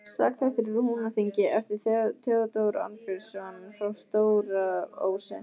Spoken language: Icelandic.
Sagnaþættir úr Húnaþingi eftir Theódór Arnbjörnsson frá Stóra-Ósi